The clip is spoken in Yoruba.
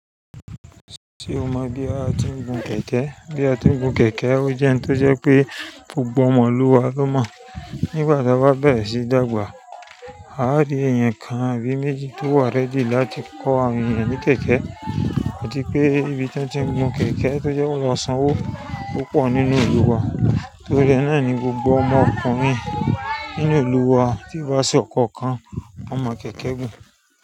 Ṣé o mọ gbe wa atuń gun kẹ̀kẹ́? Bí a ti ń gun kẹ̀kẹ́, ó jẹ́ ohun tó jẹ́ pé gbogbo ọmọ ìlú wa ló mọ̀. Nígbà tí a bá bẹ̀rẹ̀ síí dàgbà, a o rí èèyàn kan àbí méjì tó wà ready láti kọ́ àwọn ènìyàn ní kẹ̀kẹ́. Atí pé ibi tí wọ́n ti ń gun kẹ̀kẹ́ tó jẹ́ wọ́n maa sanwó púpọ̀ nínú ìlú wa, torí ẹ náà ni gbogbo ọmọkùnrin nínú ìlú wa tí wá sí ọkọ̀ kan won mọ̀ kẹ̀kẹ́ gùn.